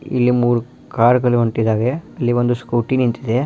ಇಲ್ಲಿ ಮೂರು ಕಾರುಗಳು ಹೋಗುತ್ತಿದ್ದೇವೆ ಒಂದು ಸ್ಕೂಟಿ ನಿಂತಿದೆ.